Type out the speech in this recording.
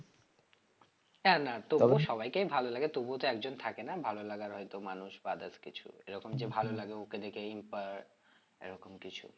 হ্যাঁ না তোমার সবাইকেই ভালো লাগে তবুও তো একজন থাকে না ভালো লাগার হয়তো মানুষ বা others কিছু এরকম যে ভালো লাগে inspired এরকম কিছু